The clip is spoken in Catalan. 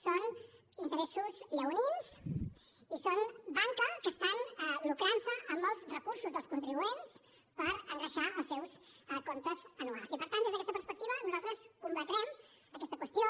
són interessos lleonins i són banca que estan lucrant se amb els recursos dels contribuents per engreixar els seus comptes anuals i per tant des d’aquesta perspectiva nosaltres combatrem aquesta qüestió